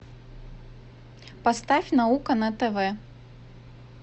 поставь наука на тв